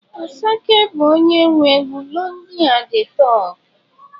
Asake bu onye nwe egwu 'lonely at the top'.